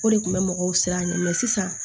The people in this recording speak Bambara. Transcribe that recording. O de kun bɛ mɔgɔw siran ɲɛ mɛ sisan